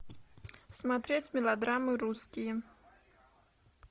смотреть мелодрамы русские